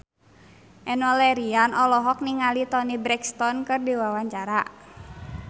Enno Lerian olohok ningali Toni Brexton keur diwawancara